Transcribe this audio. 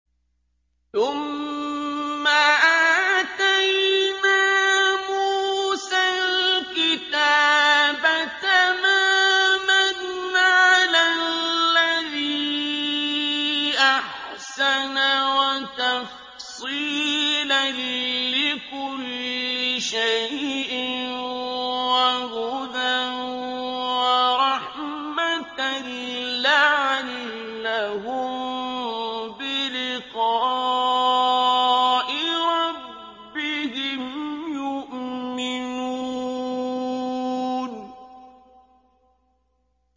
ثُمَّ آتَيْنَا مُوسَى الْكِتَابَ تَمَامًا عَلَى الَّذِي أَحْسَنَ وَتَفْصِيلًا لِّكُلِّ شَيْءٍ وَهُدًى وَرَحْمَةً لَّعَلَّهُم بِلِقَاءِ رَبِّهِمْ يُؤْمِنُونَ